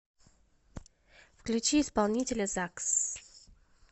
включи исполнителя закс